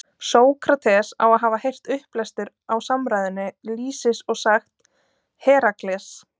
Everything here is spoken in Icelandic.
Sókrates á að hafa heyrt upplestur á samræðunni Lýsis og sagt: Herakles!